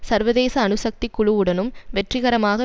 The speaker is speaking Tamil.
சர்வதேச அணு சக்தி குழு உடனும் வெற்றிகரமாக